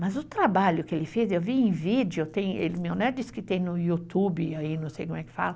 Mas o trabalho que ele fez, eu vi em vídeo, meu neto disse que tem no YouTube, não sei como é que fala,